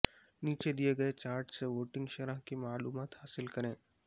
نیچے دیئے گئے چاٹ سے ووٹنگ شرح کی معلومات حاصل کریں